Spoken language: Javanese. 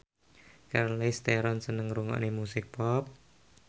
Charlize Theron seneng ngrungokne musik pop